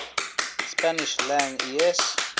spanish lang es